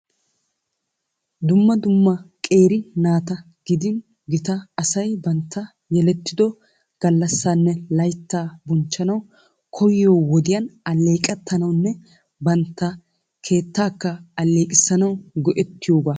Dumma dumma qeeri naata gidin gita asay bantta yelettido gallassanne laytta bonchchanaw koyyiyo wodiyaan alleeqetanawunne bantta keettaka alleeqisanaw go"eettiyooga .